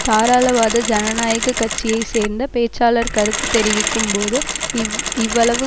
தாராளவாத ஜனநாயக கட்சியை சேர்ந்த பேச்சாளர் கருத்து தெரிவிக்கும் போது இவ் இவ்வளவு